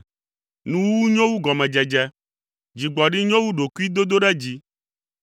Nuwuwu nyo wu gɔmedzedze! Dzigbɔɖi nyo wu ɖokuidodoɖedzi.